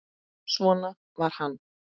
Svona var hann.